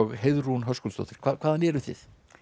Heiðrún Höskuldsdóttir hvaðan eruð þið